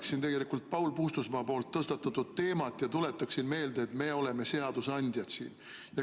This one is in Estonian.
Ma jätkan Paul Puustusmaa tõstatatud teemat ja tuletan meelde, et me oleme siin seadusandjad.